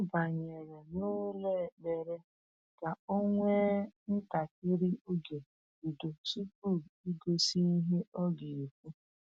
O banyere n'ụlọ ekpere ka o nwee ntakịrị oge udo tupu igosi ihe ọ ga-ekwu.